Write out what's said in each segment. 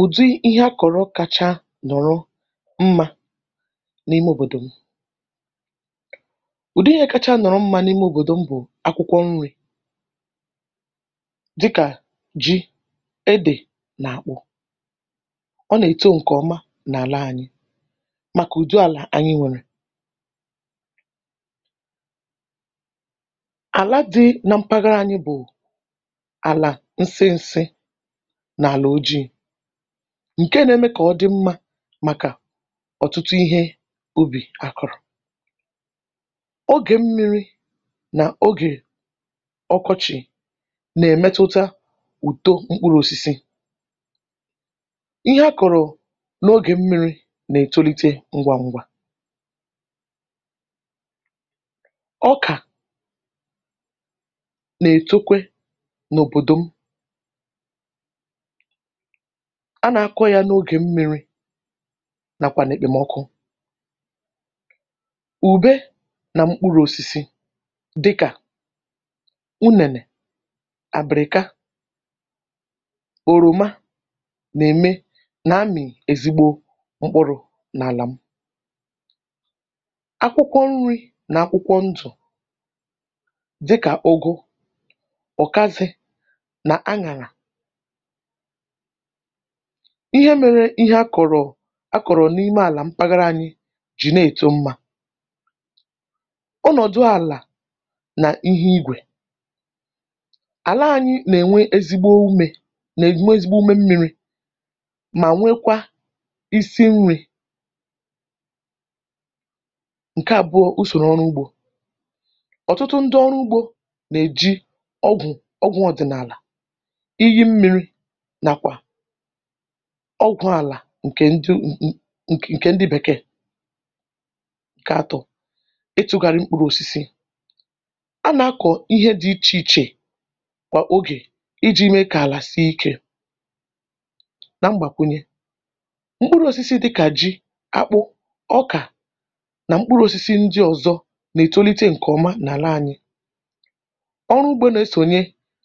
Ùdi ihe a kọ̀rọ̀ kacha nọ̀rọ mmȧ n’ime òbòdò m, ùdi ihe kacha nọ̀rọ mmȧ n’ime òbòdò m bụ̀ akwụkwọ nri̇ dịkà ji, edè nà àkpu ọ nà-èto ǹkè ọma n’àla ànyị màkà ùdo àlà ànyị nwèrè ala di nà mpàghàrà anyị bụ ala nsinsi na-ala ojii ǹke nȧ-ėmė kà ọ dị mmȧ màkà ọ̀tụtụ ihe ubì àkụ̀rụ̀, ogè mmi̇ri̇ nà ogè ọkọchị̀ nà-èmetuta ùto mkpuru̇ òsisi, ihe akọ̀rọ̀ n’ogè mmi̇ri̇ nà-ètolite ngwa ngwa ọkà nà-ètokwe n’òbòdò m a nà-akọ̇ yȧ n’ogè m mịrị nàkwà nà-èkpèmọkụ, ùbe nà mkpụrụ̇ osisi dịkà unènè, àbị̀rị̀ka, òròma nà-ème nà-amị̀ èzịgbo mkpụrụ̇ n’àlà m. Akwụkwọ nri̇ nà akwụkwọ ndụ̀ dịkà ọgụ, ọ̀kasị nà anyàlà ihe mere ihe a kọ̀rọ̀ a kọ̀rọ̀ n’ime àlà mpàghàrà anyị jì na-èto mmȧ, ọnọ̀dụ àlà nà ihe igwè àla anyị nà-ènwe ezigbo umė nà-ènwe ezigbo ume mmịrị mà nwekwa isi nri̇. Ǹke àbụọ usòrò ọrụ ugbȯ, ọ̀tụtụ ndị ọrụ ugbȯ nà-èji ọgwụ̀ ọgwụ̀ ọdị̀nàlà, èyi mmiri nakwa ọgwụ̀ àlà ǹkè ndị ǹkè ndị bèkèè kà atụ̀ itụ̇gharị mkpụrụ̇ osisi a nà-akọ̀ ihe dị ichè ichè kwà ogè iji̇ mee kà àlà sie ikė. Nà mgbàkwunye, mkpụrụ̇ osisi dịkà ji, akpụ, ọkà nà mkpụrụ osisi ndị ọ̀zọ nà-ètolite ǹkèọma n’àla anyị ọrụ ugbȯ nà-esònye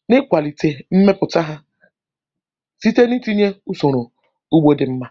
n’ịkwàlìtè mmepụ̀ta ha site nà-ètinye usoro u̇gbò dị̇ mmȧ.